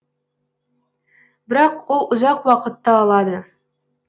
бірақ ол ұзақ уақытты алады